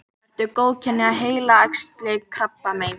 eru góðkynja heilaæxli krabbamein